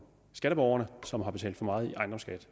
skatteborgerne som har betalt for meget i ejendomsskat